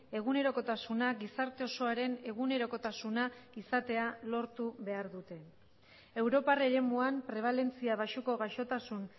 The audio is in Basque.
egunerokotasuna gizarte osoaren egunerokotasuna izatea lortu behar dute europar eremuan prebalentzia baxuko gaixotasun